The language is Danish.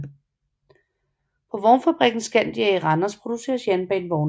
På vognfabrikken Scandia i Randers producers jernbanevogne